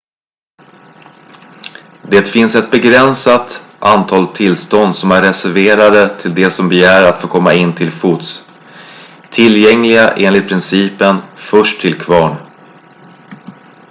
det finns ett begränsat antal tillstånd som är reserverade till de som begär att komma in till fots tillgängliga enligt principen först till kvarn